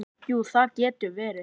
Jú, það getur verið.